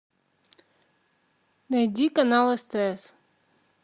найди канал стс